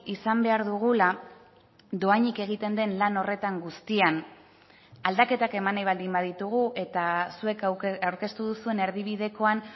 izan behar dugula dohainik egiten den lan horretan guztian aldaketak eman nahi baldin baditugu eta zuek aurkeztu duzuen erdibidekoan